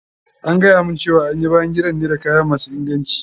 An gayamun cewa an yi bayan gidan ne da kaya masu inganci.